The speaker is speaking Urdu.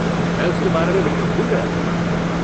میں اس کے بارے میں بالکل بھول گیا۔